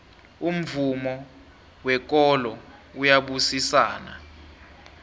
umvumo wekolo uyabusisana